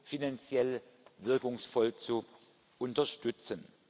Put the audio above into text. finanziell wirkungsvoll zu unterstützen.